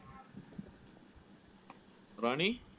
ராணி